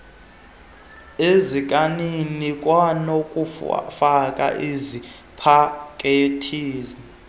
ezikanini kwanokufaka ezipakethini